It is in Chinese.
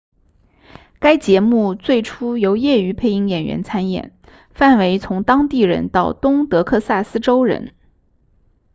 该节目最初由业余配音演员参演范围从当地人到东德克萨斯州人